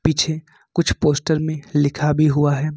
पीछे कुछ पोस्ट में लिखा भी हुआ है।